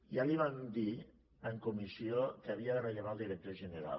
ja li vam dir en comissió que havia de rellevar el director general